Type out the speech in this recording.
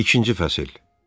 İkinci fəsil.